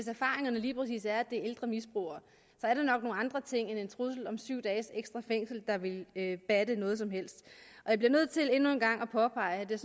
erfaringerne lige præcis er at det ældre misbrugere er det nok nogle andre ting end en trussel om syv dages ekstra fængsel der vil batte noget som helst jeg bliver nødt til endnu en gang at påpege at jeg